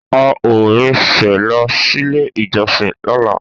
A o rin sẹ lọ sílé ìjọsìn lọla